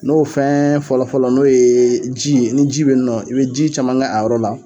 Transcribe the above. N'o fɛn fɔlɔ fɔlɔ n'o ye ji, ni ji be yen nɔn, i be ji caman k'a yɔrɔ la